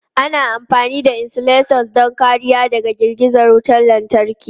Ana amfani da insulators don kariya daga girgiza wutar lantarki.